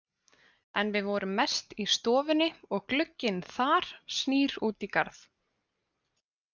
En við vorum mest í stofunni og glugginn þar snýr út í garð.